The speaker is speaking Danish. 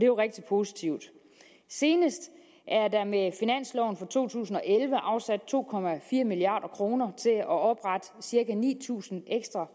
jo rigtig positivt senest er der med finansloven for to tusind og elleve afsat to milliard kroner til at oprette cirka ni tusind ekstra